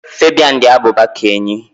Fabian dị abụba ka enyí